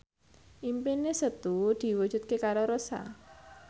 impine Setu diwujudke karo Rossa